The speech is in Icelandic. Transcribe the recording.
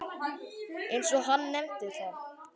eins og hann nefndi það.